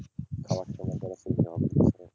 খারাপ সময়